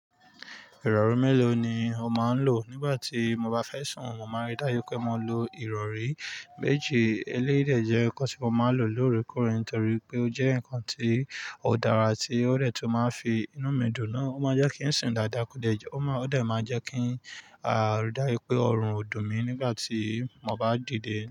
Ìrọ̀rí mélòó ni o máa ń lò? Nígbà tí mo bá fẹ́ sùn, mo máa rí dáju pé mo lo ìrọ̀rí méjì. Eléyii dè jẹ́ nǹkan tí mo máa ń lò lóorekoóre nitorí pé ó jẹ́ nǹkan tí ó dára, tí ó de tun máa n fi inú mi dùn na. Ó máa jẹ́ kí n sùn dáadáa, ó dẹ máa n jẹ́ kí a rí dájù pé ọrùn ò dùn mí nígbà tí mo bá dìde.